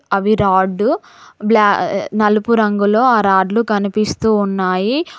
అవి రాడ్డు బ్లా నలుపు రంగులో ఆ రాడ్లు కనిపిస్తూ ఉన్నాయి.